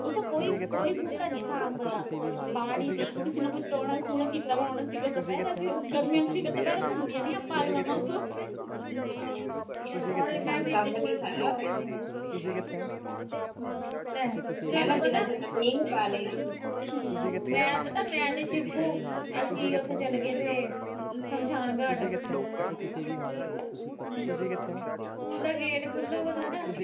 ਮੈਂ ਪਤਾ ਮੈਂ ਤਾ ਸ਼ਿਬੂ ਅਸੀਂ ਉਥੇ ਚਲੇ ਗਏ ਸੀ ਸ਼ਮਸ਼ਾਨ ਘਾਟ ਸਕੂਲ ਦਾ ਗੇਟ ਖੁਲਾ ਹੋਇਆ ਤਾ